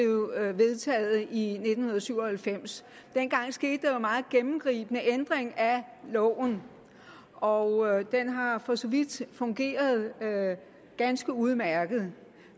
vedtaget i nitten syv og halvfems dengang skete der jo en meget gennemgribende ændring af loven og den har for så vidt fungeret ganske udmærket